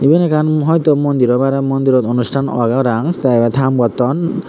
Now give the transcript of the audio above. iben ekkan hoito mondir oi pare mondirot onusthan agey parapang te ibet haam gotton.